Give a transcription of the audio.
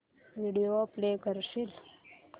video play करशील